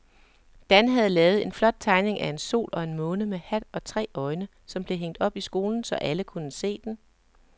Dan havde lavet en flot tegning af en sol og en måne med hat og tre øjne, som blev hængt op i skolen, så alle kunne se den.